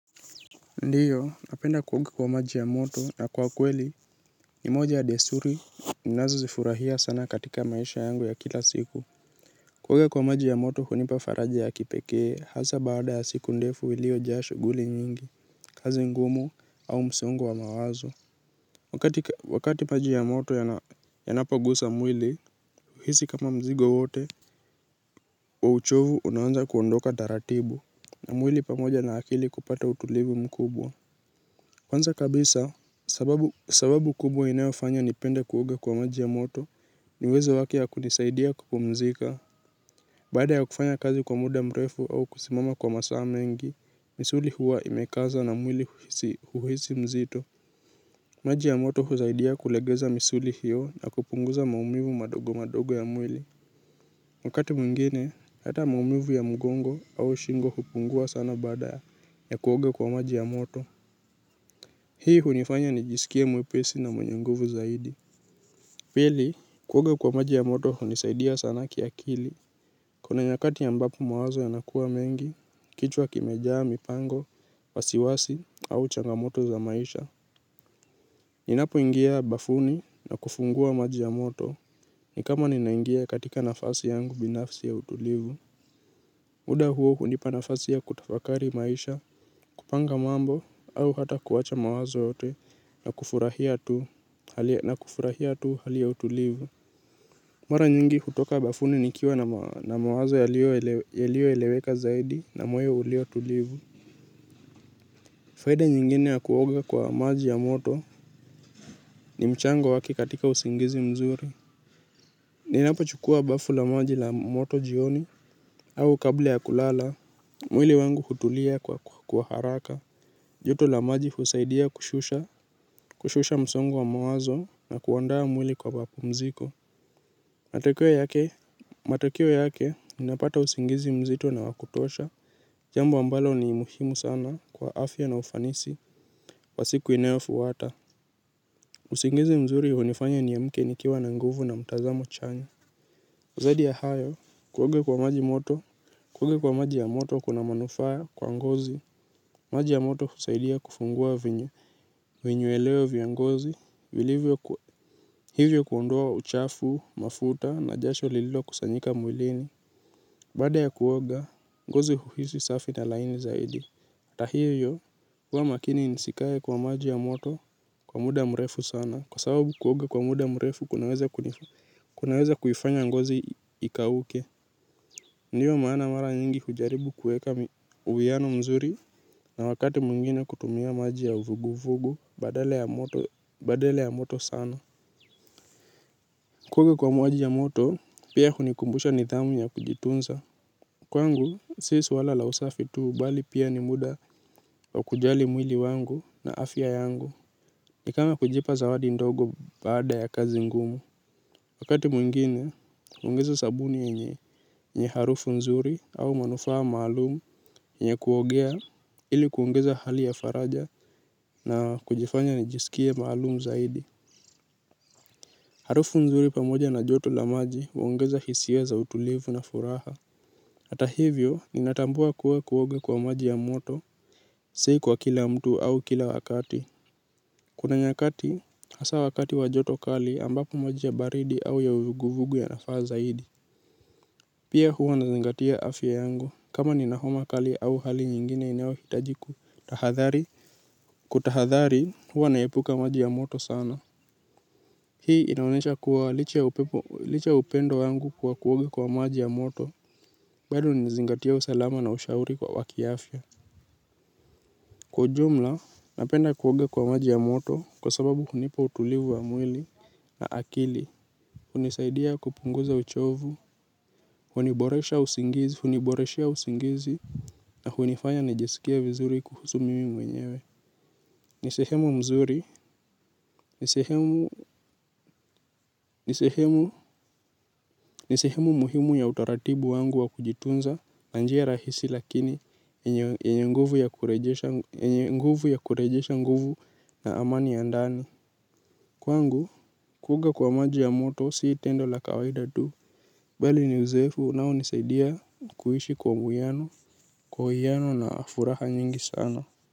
Ndiyo napenda kuoga kwa maji ya moto na kwa kweli ni moja ya desuri ninazozifurahia sana katika maisha yangu ya kila siku kuoga kwa maji ya moto hunipa faraja ya kipekee hasa baada ya siku ndefu iliojaa shughuli nyingi kazi ngumu au msongo wa mawazo wakati wakati maji ya moto yanapogusa mwili huhisi kama mzigo wote wa uchovu unaanza kuondoka taratibu na mwili pamoja na akili kupata utulivu mkubwa. Kwanza kabisa, sababu kubwa inayofanya nipende kuoga kwa maji ya moto, ni uwezo wake ya kunisaidia kupumzika. Baada ya kufanya kazi kwa muda mrefu au kusimama kwa masaa mengi, misuli huwa imekaza na mwili huhisi mzito. Maji ya moto husaidia kulegeza misuli hiyo na kupunguza maumivu madogo madogo ya mwili. Wakati mwingine, hata maumivu ya mgongo au shingo hupungua sana baada ya kuoga kwa maji ya moto. Hii hunifanya nijisikie mwepesi na mwenye nguvu zaidi. Pili, kuoga kwa maji ya moto hunisaidia sana kiakili. Kuna nyakati ambapo mawazo yanakuwa mengi, kichwa kimejaa, mipango, wasiwasi, au changamoto za maisha. Ninapoingia bafuni na kufungua maji ya moto, ni kama ninaingia katika nafasi yangu binafsi ya utulivu. Muda huo hunipa nafasi ya kutafakari maisha, kupanga mambo au hata kuwacha mawazo yote na kufurahia tu hali ya utulivu. Mara nyingi hutoka bafuni nikiwa na mawazo yalioeleweka zaidi na moyo ulio tulivu. Faida nyingine ya kuoga kwa maji ya moto ni mchango wake katika usingizi mzuri. Ninapochukua bafu la maji la moto jioni au kabla ya kulala, mwili wangu hutulia kwa haraka. Joto la maji husaidia kushusha, kushusha msongo wa mawazo na kuandaa mwili kwa mapumziko. Matokeo yake, matokeo yake, ninapata usingizi mzito na wa kutosha. Jambo ambalo ni muhimu sana kwa afya na ufanisi wa siku inayofuata usingizi mzuri hunifanya niamke nikiwa na nguvu na mtazamo chanya zaidi ya hayo, kuoga kwa maji moto, kuoga kwa maji ya moto kuna manufaa kwa ngozi. Maji ya moto husaidia kufungua vinyweleo vya ngozi, hivyo kuondoa uchafu, mafuta na jasho lililokusanyika mwilini. Baada ya kuoga, ngozi huhisi safi na laini zaidi. Ata hivyo, huwa makini nisikae kwa maji ya moto kwa muda mrefu sana. Kwa sababu kuoga kwa muda mrefu, kunaweza kuifanya ngozi ikauke. Ndiyo maana mara nyingi hujaribu kueka uwiano mzuri na wakati mwingine kutumia maji ya vugu-vugu badala ya moto sana. Kuoga kwa maji ya moto, pia hunikumbusha nidhamu ya kujitunza. Kwangu, si swala la usafi tu bali pia ni muda wa kujali mwili wangu na afya yangu. Ni kama kujipa zawadi ndogo baada ya kazi ngumu. Wakati mwingine, huongeza sabuni yenye harufu nzuri au manufaa maalum yenye kuogea ili kuongeza hali ya faraja na kujifanya nijisikie maalum zaidi. Harufu nzuri pamoja na joto la maji huongeza hisia za utulivu na furaha. Ata hivyo ninatambua kuwa kuoga kwa maji ya moto si kwa kila mtu au kila wakati. Kuna nyakati hasa wakati wa joto kali ambapo maji ya baridi au ya uvuguvugu yanafaa zaidi. Pia huwa nazingatia afya yangu kama nina homa kali au hali nyingine inayohitaji kutahadhari. Kutahadhari huwa naepuka maji ya moto sana. Hii inaonyesha kuwa licha ya upendo wangu kuwa kuoga kwa maji ya moto. Bado ni zingatia usalama na ushauri wa kiafya. Kwa jumla napenda kuoga kwa maji ya moto kwa sababu hunipa utulivu wa mwili na akili hunisaidia kupunguza uchovu huniboreshea usingizi na hunifanya nijisikie vizuri kuhusu mimi mwenyewe. Ni sehemu mzuri. Ni sehemu muhimu ya utaratibu wangu wa kujitunza na njia rahisi lakini yenye nguvu ya kurejesha nguvu na amani ya ndani. Kwangu kuoga kwa maji ya moto si tendo la kawaida tu bali ni uzoefu unaonisaidia kuishi kwa uwiano kwa uwiano na furaha nyingi sana.